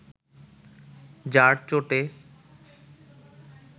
যার চোটে